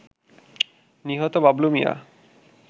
নিহত বাবলু মিয়া